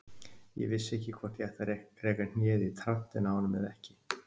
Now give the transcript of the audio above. Ég vissi ekki hvort ég ætti að reka hnéð í trantinn á honum eða ekki.